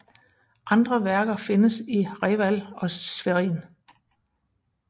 Andre værker findes i Reval og Schwerin